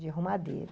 De arrumadeira.